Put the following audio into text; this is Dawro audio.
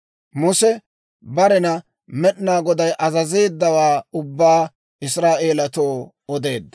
Muse barena Med'inaa Goday azazeeddawaa ubbaa Israa'eelatoo odeedda.